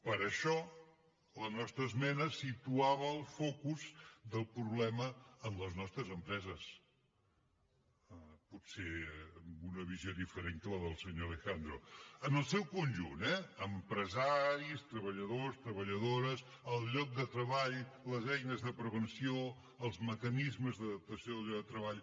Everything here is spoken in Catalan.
per això la nostra esmena situava el focus del problema en les nostres empreses potser una visió diferent que la del senyor alejandro en el seu conjunt eh empresaris treballadors treballadores el lloc de treball les eines de prevenció els mecanismes d’adaptació del lloc de treball